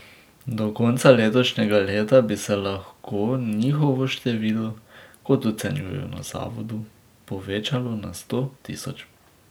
Do konca letošnjega leta bi se lahko njihovo število, kot ocenjujejo na zavodu, povečalo na sto tisoč.